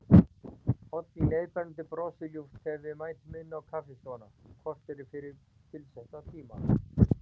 Oddný leiðbeinandi brosir ljúft þegar við mætum inn á kaffistofuna, kortéri fyrir tilsettan tíma.